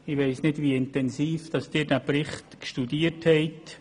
Ich weiss nicht, wie intensiv Sie den Bericht studiert haben.